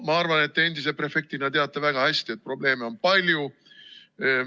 Ma arvan, et endise prefektina teate väga hästi, et probleeme on palju.